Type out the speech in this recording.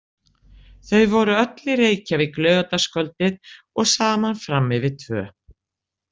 Þau voru öll í Reykjavík laugardagskvöldið og saman fram yfir tvö.